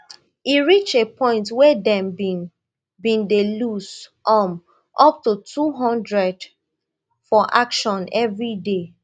e reach a point wey dem bin bin dey loose um up to two hundred for action evriday